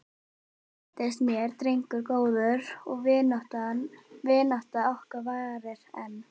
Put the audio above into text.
Hann reyndist mér drengur góður og vinátta okkar varir enn.